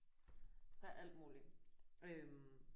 Der er alt muligt øh